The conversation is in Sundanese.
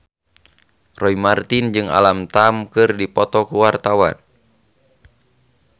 Roy Marten jeung Alam Tam keur dipoto ku wartawan